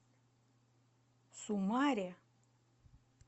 сумаре